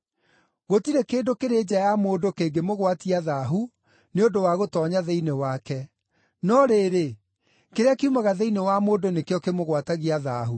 Gũtirĩ kĩndũ kĩrĩ nja ya mũndũ kĩngĩmũgwatia ‘thaahu’ nĩ ũndũ wa gũtoonya thĩinĩ wake. No rĩrĩ, kĩrĩa kiumaga thĩinĩ wa mũndũ nĩkĩo kĩmũgwatagia ‘thaahu’.”